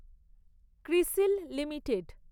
CRISIL limited